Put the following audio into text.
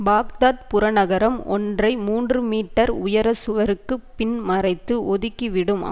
Baghdad புறநகரம் ஒன்றை மூன்று மீட்டர் உயர சுவருக்கு பின் மறைத்து ஒதுக்கிவிடும்